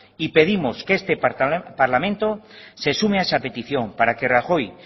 y pedimos que este parlamento se sume a esa petición para que rajoy